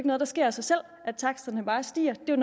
noget der sker af sig selv at taksterne bare stiger det er